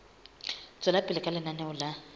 tswela pele ka lenaneo la